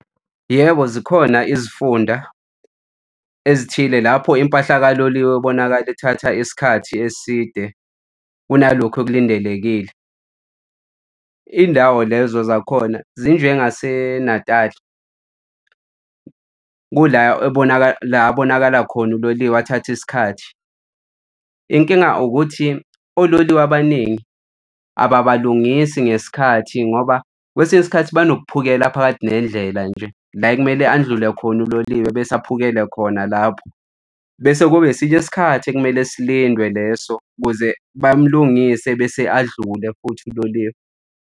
Yebo, zikhona izifunda ezithile lapho impahla kaloliwe ibonakala ithatha isikhathi eside kunalokhu okulindelekile. Indawo lezo zakhona zinjengaseNatali kula la abonakala khona uloliwe athathe isikhathi. Inkinga ukuthi ololiwe abaningi ababalungisi ngesikhathi ngoba kwesinye isikhathi banokuphukela phakathi nendlela nje la ekumele andlule khona uloliwe bese aphukele khona lapho. Bese kube esinye isikhathi ekumele silindwe leso ukuze bamlungise bese adlule futhi uloliwe.